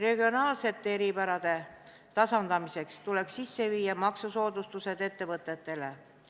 Regionaalsete eripärade tasandamiseks tuleks kehtestada maksusoodustused teatud ettevõtetele.